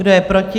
Kdo je proti?